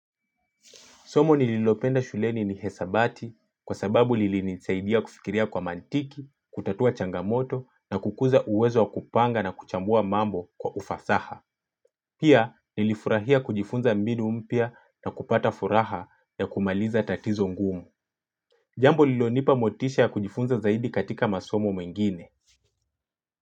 Somo nililopenda shuleni nihesabati kwa sababu lilini nisaidia kufikiria kwa mantiki, kutatua changamoto na kukuza uwezo wa kupanga na kuchambua mambo kwa ufasaha. Pia nilifurahia kujifunza mbinu mpia na kupata furaha ya kumaliza tatizo ngumu. Jambo lilonipa motisha ya kujifunza zaidi katika masomo mengine.